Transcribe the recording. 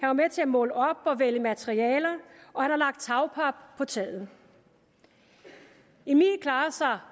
var med til at måle op og vælge materialer og han har lagt tagpap på taget emil klarer sig